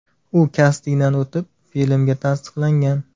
U kastingdan o‘tib filmga tasdiqlangan.